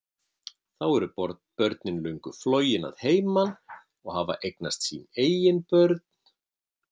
Þá eru börnin löngu flogin að heiman og hafa eignast sín eigin börn.